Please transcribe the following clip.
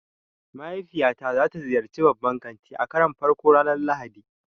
Mahaifiyata za ta ziyarci babban kanti a karon farko ranar Lahadi.